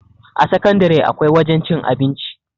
a sakandare akwai wajen cin abinci